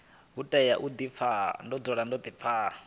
u tea u di pfa